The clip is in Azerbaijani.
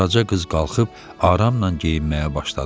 Qaraca qız qalxıb aramla geyinməyə başladı.